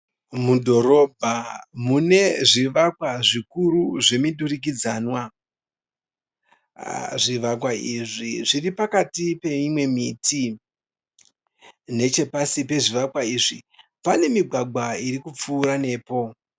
Mudhorobha mune zvivakwa zvikuri zvemudurikidzanwa . Aah zvivakwa izvi zviripakati peimwe miti. Nechepasi pezvivakwa izvi pane migwagwa ikupfura nepo.